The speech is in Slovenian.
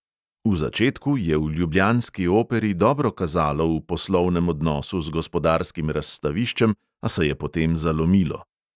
V začetku je v ljubljanski operi dobro kazalo v poslovnem odnosu z gospodarskim razstaviščem, a se je potem zalomilo.